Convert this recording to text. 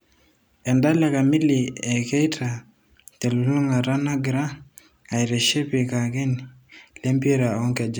Endala kamili e Keita telulungata nagira aitiship lcakenini lempira onkejek.